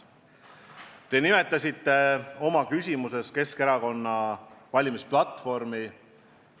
Te nimetasite oma küsimuses Keskerakonna valimisplatvormi.